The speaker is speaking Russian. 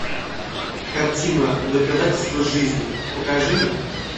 картина доказательство жизни покажи мне